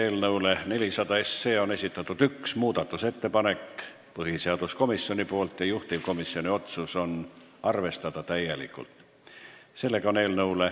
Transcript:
Eelnõu 400 kohta on esitatud üks muudatusettepanek põhiseaduskomisjonilt ja juhtivkomisjoni otsus on arvestada seda täielikult.